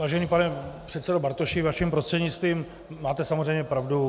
Vážený pane předsedo Bartoši, vaším prostřednictvím, máte samozřejmě pravdu.